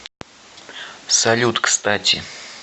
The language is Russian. салют кстати